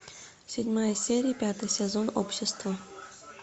седьмая серия пятый сезон общество